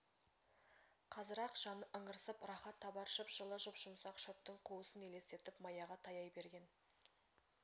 қазір-ақ жаны ыңырсып рахат табар жып-жылы жұп-жұмсақ шөптің қуысын елестетіп маяға таяй берген